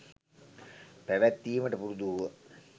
පැවැත්වීමට පුරුදු වූහ.